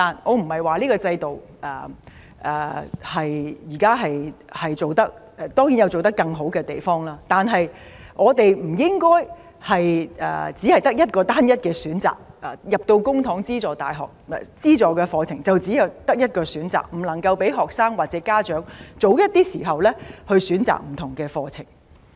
我不是評論這個制度，而當然這個制度可以做得更好，但我們不應該只有單一選擇，公帑資助的課程只有一個選擇，不能夠讓學生或家長早一點選擇不同課程。